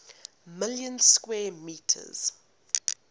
million square kilometers